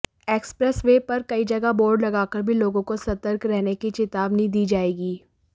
expressway पर कई जगह बोर्ड लगाकर भी लोगों को सतर्क रहने की चेतावनी दी जाएगी